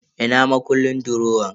Ina makullin durowan?